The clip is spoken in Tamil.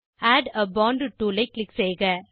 ஆட் ஆ போண்ட் டூல் ஐ க்ளிக் செய்க